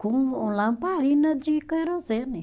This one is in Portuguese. Com lamparina de querosene.